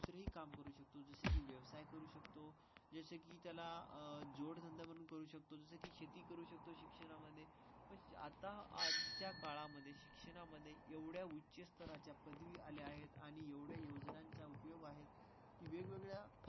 त्याला जोडधंदा म्हणून करू शकतो. शेती करू शकतो. शिक्षणामध्ये आता आजच्या काळामध्ये शिक्षणामध्ये एवढ्या उच्च स्तराच्या पदरी आल्या आहेत आणि एवढे योजनांचा उपयोग आहे. वगळा.